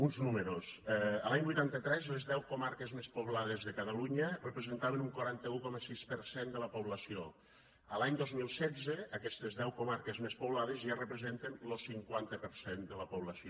uns números l’any vuitanta tres les deu comarques més poblades de catalunya representaven un quaranta un coma sis per cent de la població l’any dos mil setze aquestes deu comarques més poblades ja representen lo cinquanta per cent de la població